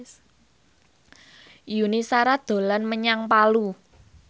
Yuni Shara dolan menyang Palu